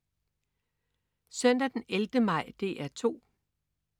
Søndag den 11. maj - DR 2: